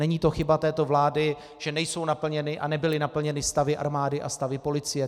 Není to chyba této vlády, že nejsou naplněny a nebyly naplněny stavy armády a stavy policie.